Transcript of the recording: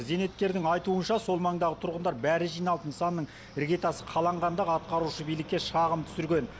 зейнеткердің айтуынша сол маңдағы тұрғындар бәрі жиналып нысанның іргетасы қаланғанда ақ атқарушы билікке шағым түсірген